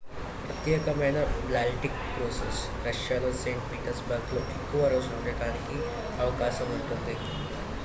ప్రత్యేకమైన baltic cruises రష్యాలోని st. petersburgలో ఎక్కువ రోజులు ఉండటానికి అవకాశం ఉంటుంది